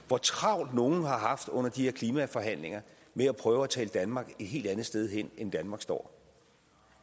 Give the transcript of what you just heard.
hvor travlt nogle har haft under de her klimaforhandlinger med at prøve at tale danmark et helt andet sted hen end hvor danmark står